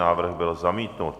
Návrh byl zamítnut.